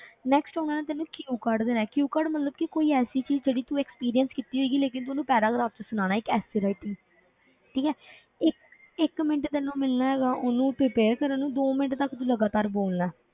Next ਉਹਨਾਂ ਨੇ ਤੈਨੂੰ q card ਦੇਣਾ ਹੈ q card ਮਤਲਬ ਕਿ ਕੋਈ ਐਸੀ ਚੀਜ਼ ਜਿਹੜੀ ਤੂੰ experience ਕੀਤੀ ਹੋਏਗੀ ਲੇਕਿੰਨ ਤੂੰ ਉਹਨੂੰ paragraph ਵਿੱਚ ਸੁਣਾਉਣਾ ਹੈ ਇੱਕ essay writing ਠੀਕ ਹੈ ਇੱਕ ਇੱਕ ਮਿੰਟ ਤੈਨੂੰ ਮਿਲਣਾ ਹੈਗਾ ਹੈ ਉਹਨੂੰ prepare ਕਰਨ ਨੂੰ ਦੋ ਮਿੰਟ ਤੱਕ ਤੂੰ ਲਗਾਤਾਰ ਬੋਲਣਾ ਹੈ,